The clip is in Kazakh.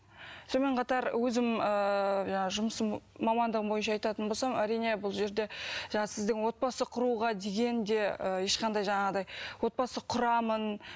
сонымен қатар өзім ыыы жаңағы жұмысым мамандығым бойынша айтатын болсам әрине бұл жерде жаңағы сіздің отбасы құруға деген де ешқандай жаңағыдай отбасы құрамын